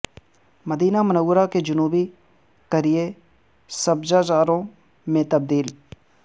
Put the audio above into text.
مدینہ Munawwarah کے جنوبی قریئے سبزہ زاروں میں تبدیل